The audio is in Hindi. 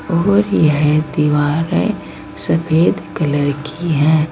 और यह दीवार है सफेद कलर की है।